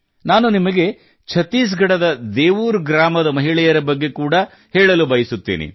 ನಾನು ನಿಮಗೆ ಛತ್ತೀಸ್ ಗಢದ ದೇವೂರ್ ಗ್ರಾಮದ ಮಹಳೆಯರ ಬಗ್ಗೆ ಕೂಡಾ ಹೇಳಲು ಬಯಸುತ್ತೇನೆ